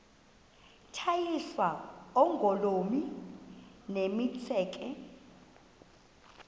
tyiswa oogolomi nemitseke